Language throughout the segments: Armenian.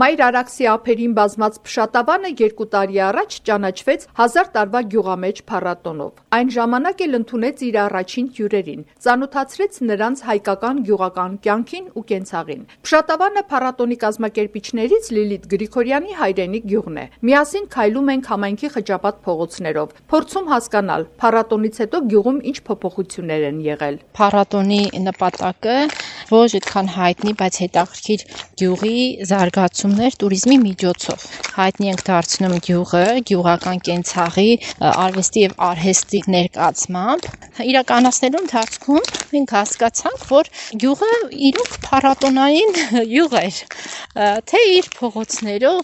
Մայր Արաքսի ափերին բազմած Փշատավանը 2 տարի առաջ ճանաչվեց «1000 տարվա գյուղամեջ» փառատոնով: Այն ժամանակ էլ ընդունեց իր առաջին հյուրերին, ծանոթացրեց նրանց հայկական գյուղական կյանքին ու կենցաղին։ Փշատավանը փառատոնի կազմակերպիչներից Լիլիթ Գրիգորյանի հայրենի գյուղն է: Միասին քայլում ենք համայնքի խճապատ փողոցներով, փորձում հասկանալ` փառատոնից հետո գյուղում ինչ փոփոխություններ են եղել. «Փառատոնի նպատակը ոչ այդքան հայտնի, բայց հետաքրքիր գյուղի զարգացումն էր տուրիզմի միջոցով: Հայտնի ենք դարձնում գյուղը՝ գյուղական կենցաղի, արվեստի և արհեստի ներկայացմամբ: Իրականացնելու ընթացքում մենք հասկացանք, որ գյուղն իրոք փառատոնային գյուղ էր՝ իր փողոցներով,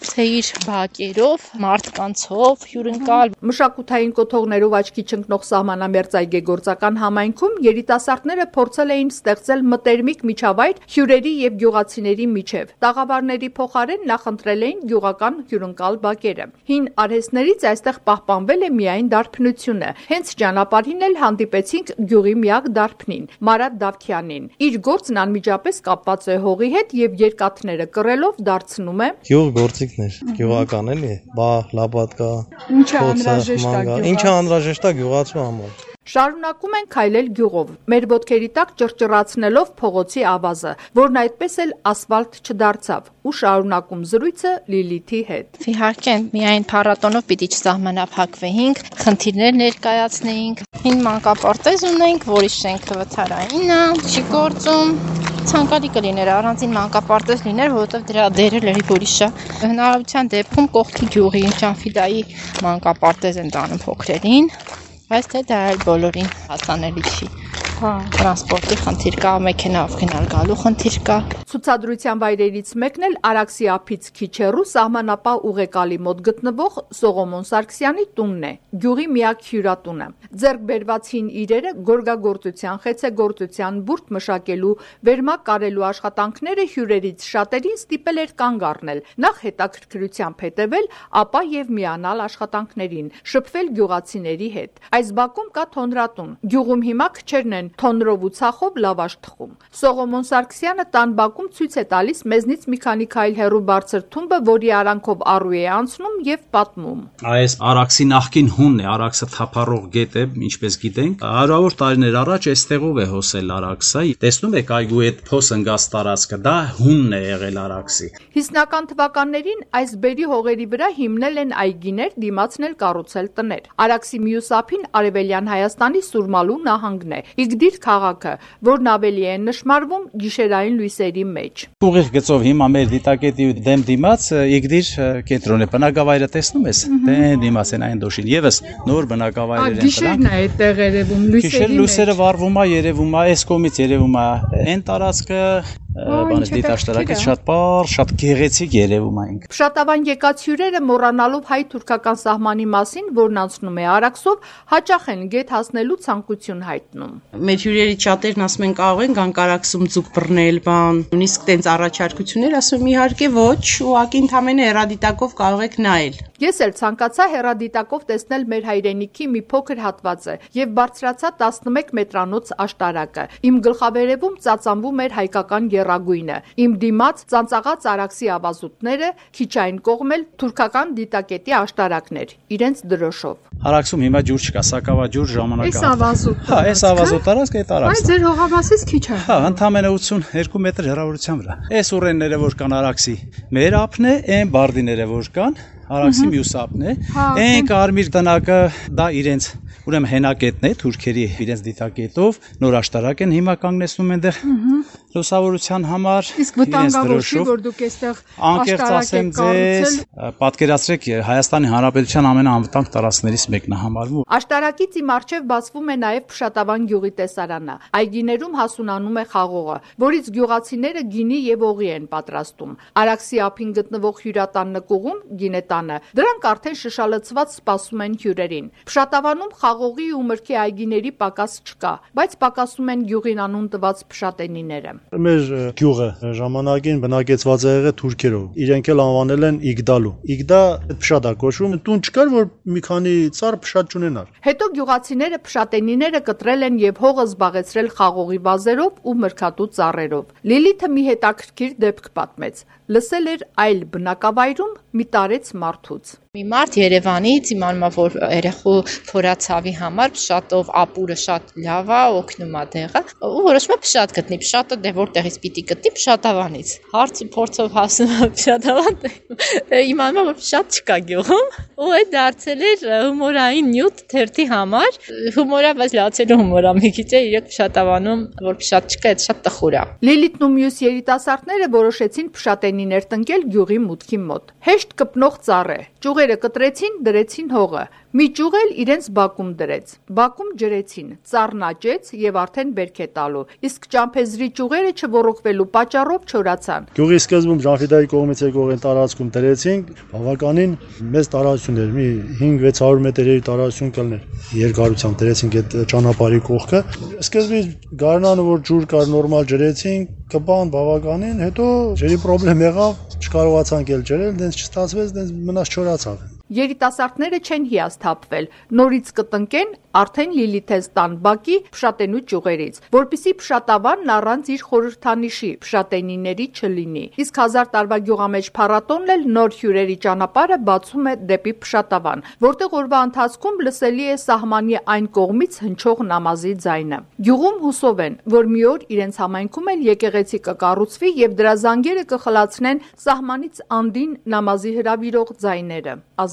բակերով, մարդկանցով հյուրընկալ»: Մշակութային կոթողներով աչքի չընկնող սահմանամերձ այգեգործական համայնքում երիտասարդները փորձել են ստեղծել մտերմիկ միջավայր հյուրերի ու գյուղացիների միջև, տաղավարների փոխարեն նախընտրել էին գյուղական հյուրընկալ բակերը: Հին արհեստներից այստեղ պահպանվել է միայն դարբնությունը: Հենց ճանապարհին էլ հանդիպեցինք գյուղի միակ դաբնին՝ Մարատ Դավթյանին։ Իր գործն անմիջապես կապված է հողի հետ և երկաթները կռելով դարձնում է գյուղգործիքներ՝ բահ, լապատկա, փոցխ, մանգաղ, ինչն անհրաժեշտ է գյուղացուն: Շարունակում ենք քայլել գյուղով՝ մեր ոտքերի տակ ճռճռացնելով փողոցի ավազը, որն այդպես էլ ասֆալտ չդարձավ ու շարունակում զրույցը Լիլիթի հետ. «Հին մանկապարտեզ ունենք, որի շենքը վթարային է, չի գործում, նախակրթարան կա, բայց ցանկալի կլիներ առանձին մանկապարտեզ լիներ, որովհետև դրա դերը լրիվ ուրիշ է: Հնարավորության դեպքում կողքի գյուղի՝ Ջանֆիդայի, մանկապարտեզ են տանում փոքրերին, բայց դա էլ բոլորին հասանելի չի՝ տրանսպորտի խնդիր կա, մեքենայով գնալ-գալու խնդիր կա»: Ցուցադրության վայրերից մեկն էլ Արաքսի ափից քիչ հեռու, սահմանապահ ուղեկալի մոտ գտնվող Սողոմոն Սարգսյանի տունն է` գյուղի միակ հյուրատունը։ Ձեռք բերված հին իրերը, գորգագործության, խեցեգործության, բուրդը մշակելու, վերմակ կարելու աշխատանքները հյուրերից շատերին ստիպել էր կանգ առնել, նախ`հետաքրքրությամբ հետեւել, ապա եւ միանալ աշխատանքներին, շփվել գյուղացիների հետ: Այս բակում կա թոնրատուն, գյուղում հիմա քչերն են թոնրով ու ցախով լավաշ թխում: Սողոմոն Սարգսյանը տան բակում ցույց է տալիս մեզնից մի քանի քայլ հեռու բարձր թումբը, որի արանքով առու է անցնում և պատմում. «Այ էս Արաքսի նախկին հունն է: Արաքսը թափառող գետ է, ինչպես գիտենք, 100-ավոր տարիներ առաջ այստեղով է հոսել Արաքսը, տեսնու՞մ եք այգու փոս ընկած տարածքը, դա հունն է եղել»: 50-ական թվականներին այս բերրի հողերի վրա հիմնել են այգիներ, դիմացն էլ կառուցել տներ: Արաքսի մյուս ափին Արևելյան Հայաստանի Սուրմալու նահանգն է, Իգդիր քաղաքը, որն ավելի է նշմարվում գիշային լույսերի մեջ: «Ուղիղ գծով մեր դիտակետի դեմ-դիմաց Իգդիր կենտրոնն է, նոր բնակավայրեր են մյուսները, շատ պարզ երևում է»: Փշատավան եկած հյուրերը մոռանալով հայ-թուրքական սահմանի մասին, որն անցնում է Արաքսով, հաճախ են գետ հասնելու ցանկություն հայտնում. «Մեր հյուրերից շատերն ասում են՝ կարող ենք գալ Արաքսից ձուկ բռնել, ասում ենք՝ իհարկե ոչ, ընդամենը կարող եք հեռադիտակով նայել»: Ես էլ ցանկացա հեռադիտակով տեսնել մեր հայրենիքի մի փոքր հատվածը և բարձրացա 11 մետրանոց աշտարակը։ Իմ գլխավերեւում ծածանվում էր հայկական եռագույնը, իմ դիմաց` ծանծաղած Արաքսի ավազուտները, քիչ այն կողմն էլ` թուրքական դիտակետի աշտարակն էր` իրենց դրոշով: «Արաքսում հիմա ջուր չկա, սակավաջուր ժամանակահատված է, մեր հողամասից ընդամենը 82մ հեռավորության վրա է: Էս ուռենիները, որ կան՝ Արաքսի մեր ափն է, է՜ն բարդիները, որ կան՝ Արաքսի մյուս ափն է: Երևացող կարմիր տնակը թուրքերի հենակետն է՝ իրենց դիտակետով, նոր աշտարակ են հիմա կանգնեցնում էնտեղ՝ լուսավորության համար: Սա Հայաստանի ամենաանվտանգ տարածքներից մեկն է»: Աշտարակից իմ առջև բացվում է նաև Փշատավան գյուղի տեսարանը։ Այգիներում հասունանում է խաղողը, որից գյուղացիները գինի եւ օղի են պատրաստում: Արաքսի ափին գտնվող հյուրատան նկուղում՝ գինետանը, դրանք արդեն շշալցված սպասում են հյուրերին: Փշատավանում խաղողի ու մրգի այգիների պակաս չկա, բայց պակասում են գյուղին անուն տված փշատենիները. «Մեր գյուղը ժամանակին բնակեցված է եղել թուրքերով և իրենք էլ անվանել են Իգդալու: Իգդա նշանակում է փշատ, տուն չի եղել, որ մի քանի ծառ փշատ չունենար», ասում է գյուղի բնակիչ Գրիգոր Գրիգորյանը: Հետո գյուղացիները փշատենիները կտրել են եւ հողը զբաղեցրել խաղողի վազերով ու մրգատու ծառերով: Լիլիթը մի հետաքրքրիր դեպք պատմեց, լսել էր այլ բնակավայրում մի տարեց մարդուց. «Մի երևանցի իմանալով որ փշատով ապուրը երեխայի փորացավին շատ է օգնում, որոշում է փշատ գտնի, իսկ փշատը որտեղից պետք է գտնի՝ Փշատավանից: Հարցուփորձով հասնում է Փշատավան ու տեսնում, որ փշատ չկա գյուղում ու սա դարձել էր հումորային նյութ թերթի համար: Հումոր է, բայց լացելու հումոր է մի քիչ, որ Փշատավանում փշատ չկա, էդ շատ տխուր է»: Լիլիթն ու մյուս երիտասարդները որոշեցին փշատենիներ տնկել գյուղի մուտքի մոտ: Հեշտ կպնող ծառ է, ճյուղերը կտրեցին, դրեցին հողը, մի ճյուղ էլ իրենց բակում դրեց: Բակում ջրեցին, ծառն աճեց և արդեն բերք է տալու, իսկ ճամփեզի ճյուղերը չոռոգվելու պատճառով չորացան: «Գյուղի սկզբում, Ջանֆիդայի կողմից եկող տարածքում դրեցինք, բավականին մեծ տարածություն էր՝ 500-600մ, սկզբում, գարնանը ջուր կար, ջրեցինք, նորմալ կպավ, հետո ջրի պրոբլեմ եղավ, չջրեցինք՝ մնաց, չորացավ»: Երիտասարդները չեն հիասթափվել, նորից կտնկեն արդեն Լիլիթենց բակի փշատենու ճյուղերից, որպեսզի Փշատավանն առանց իր խորհրդանիշի` փշատենիների չլնինի։ Իսկ «1000 տարվա գյուղամեջ փառատոնն» էլ նոր հյուրերի ճանապարհը բացում է դեպի Փշատավան, որտեղ օրվա ընթացքում լսելի է սահմանի այն կողմից հնչող նամազի ձայնը։ Գյուղում հուսով են, որ մի օր իրենց համայնքում էլ եկեղեցի կկառուցվի եւ դրա զանգերը կխլացնեն սահմանից անդին նամազի հրավիրող ձայները՝ ազանը։